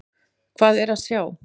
Hvað er að sjá?